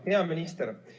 Hea minister!